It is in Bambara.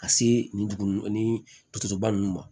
Ka se nin dugu nunnu ni dusoba ninnu ma